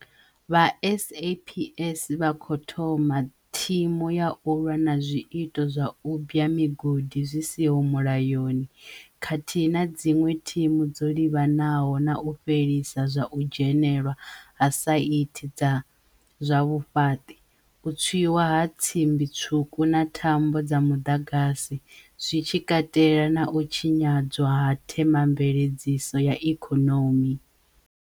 Vha SAPS vha khou thoma thimu ya u lwa na zwiito zwa u bwa migodi zwi siho mulayoni, khathihi na dziṅwe thimu dzo livhanaho na u fhelisa zwa u dzhenelwa ha saithi dza zwa vhufhaṱi, u tswiwa ha tsimbitswuku na thambo dza muḓagasi, zwi tshi katela na u tshinyadzwa ha themamveledziso ya ikonomi.